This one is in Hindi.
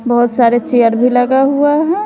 बहोत सारे चेयर भी लगा हुआ हैं।